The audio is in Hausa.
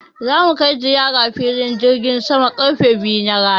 Za mu kai ziyara filin jirgin saman karfe biyu na rana.